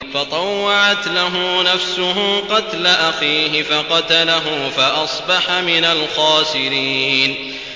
فَطَوَّعَتْ لَهُ نَفْسُهُ قَتْلَ أَخِيهِ فَقَتَلَهُ فَأَصْبَحَ مِنَ الْخَاسِرِينَ